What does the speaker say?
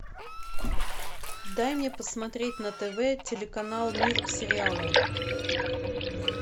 дай мне посмотреть на тв телеканал мир сериала